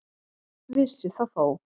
Vissi það þó.